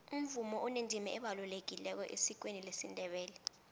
umvumo unendima ebalulekileko esikweni lesindebele